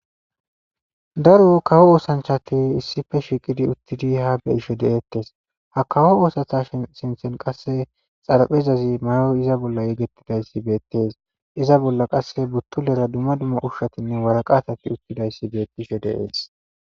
daro kawo oosanchati issife shiiqidi uttidi ha beyisho deeettes ha kawo oosatha shi sinthen qasse xaraphezazi mayoy iza bolla yegetidayssi beettees iza bolla qasse buttulera dumma dumma ushshatinne waraqatati uttidayssi beettisho deees